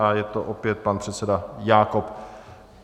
A je to opět pan předseda Jákob.